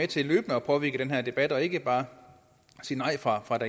til løbende at påvirke den her debat og ikke bare sige nej fra fra